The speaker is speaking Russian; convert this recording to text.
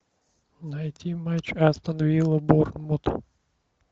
найти матч астон вилла борнмут